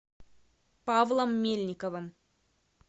павлом мельниковым